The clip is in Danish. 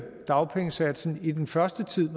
dagpengesatsen i den første tid